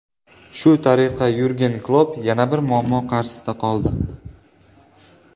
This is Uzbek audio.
Shu tariqa Yurgen Klopp yana bir muammo qarshisida qoldi.